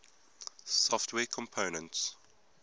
software components